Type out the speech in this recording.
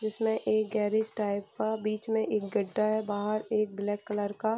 जिसमे एक garage type का बीच में एक गड्डा है | बाहर एक ब्लैक कलर का --